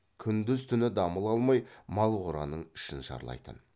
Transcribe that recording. күндіз түні дамыл алмай мал қораның ішін шарлайтын